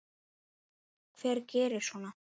Hver gerir svona?